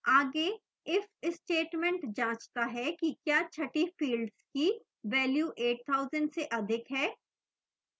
आगे if statement जाँचता है कि क्या छठी field की value 8000 से अधिक है